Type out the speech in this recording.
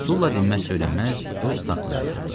Sulla dinməz-söylənməz öz taxtında oturdu.